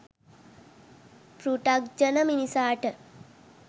පෘථග්ජන මිනිසාට